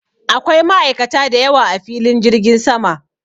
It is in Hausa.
Akwai ma'aikata da yawa a filin jirgin sama.